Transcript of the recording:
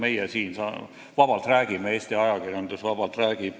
Meie siin räägime vabalt, Eesti ajakirjandus räägib vabalt.